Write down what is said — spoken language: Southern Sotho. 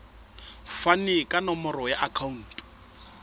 fane ka nomoro ya akhauntu